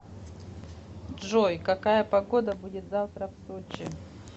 джой какая погода будет завтра в сочи